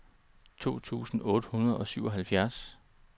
to tusind otte hundrede og syvoghalvfjerds